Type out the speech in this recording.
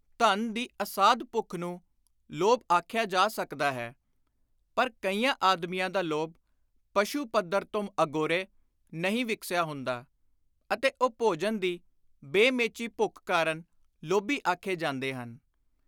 ਧਨ ਦੀ ਅਸਾਧ ਭੁੱਖ ਨੂੰ ਲੋਭ ਆਖਿਆ ਜਾ ਸਕਦਾ ਹੈ, ਪਰ ਕਈਆਂ ਆਦਮੀਆਂ ਦਾ ਲੋਭ ਪਸ਼ੂ ਪੱਧਰ ਤੋਂ ਅਗੋਰੇ ਨਹੀਂ ਵਿਕਸਿਆ ਹੁੰਦਾ ਅਤੇ ਉਹ ਭੋਜਨ ਦੀ ਬੇ-ਮੇਚੀ ਭੁੱਖ ਕਾਰਨ ਲੋਭੀ ਆਖੇ ਜਾਂਦੇ ਹਨ।